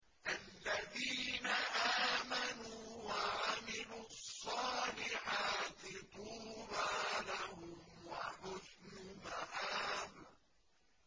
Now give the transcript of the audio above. الَّذِينَ آمَنُوا وَعَمِلُوا الصَّالِحَاتِ طُوبَىٰ لَهُمْ وَحُسْنُ مَآبٍ